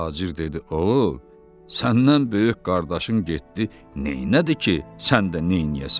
Tacir dedi, o səndən böyük qardaşın getdi, neynədi ki, sən də neynəyəsən?